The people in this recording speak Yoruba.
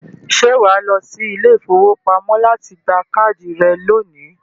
ṣé wà á sì lọ sí ilé-ìfowópamọ́ láti gba káàdì rẹ̀ lónìí?